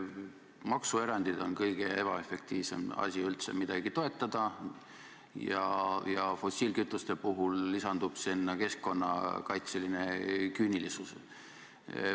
Maksuerandid on kõige ebaefektiivsem asi üldse midagi toetada ja fossiilkütuste puhul lisandub sinna keskkonnakaitseline küünilisus.